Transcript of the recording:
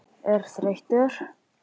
er þreyttur?